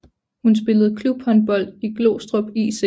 Hun spillede klubhåndbold i Glostrup IC